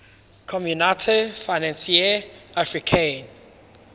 communaute financiere africaine